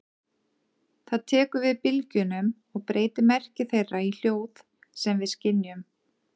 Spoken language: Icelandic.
Það tekur við bylgjunum og breytir merki þeirra í hljóð sem við skynjum.